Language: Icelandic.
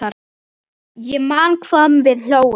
Ég man hvað við hlógum.